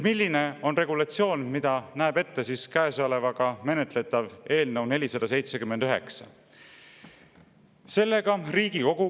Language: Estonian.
Milline on regulatsioon, mida näeb ette praegu menetletav eelnõu 479?